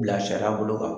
Bilasira bolo kan